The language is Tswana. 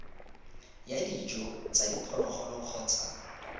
ya dijo tsa diphologolo kgotsa